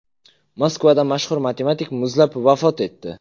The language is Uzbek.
Moskvada mashhur matematik muzlab vafot etdi.